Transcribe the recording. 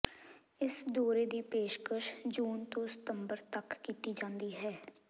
ਇਸ ਦੌਰੇ ਦੀ ਪੇਸ਼ਕਸ਼ ਜੂਨ ਤੋਂ ਸਤੰਬਰ ਤਕ ਕੀਤੀ ਜਾਂਦੀ ਹੈ